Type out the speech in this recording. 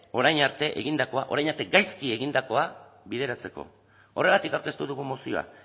orain arte egindakoa orain arte gaizki egindakoa bideratzeko horregatik aurkeztu dugu mozioa